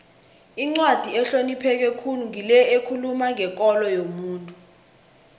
incwadi ehlonipheke khulu ngile ekhuluma ngekolo yomuntu